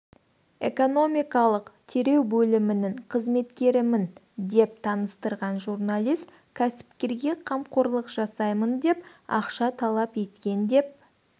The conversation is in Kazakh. экономикалық тереу бөлімінің қызметкерімін деп таныстырған журналист кәсіпкерге қамқорлық жасаймын деп ақша талап еткен деп